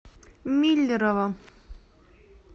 миллерово